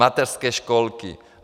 Mateřské školky.